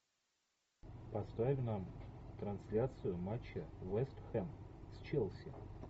поставь нам трансляцию матча вест хэм с челси